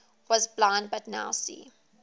was blind but now see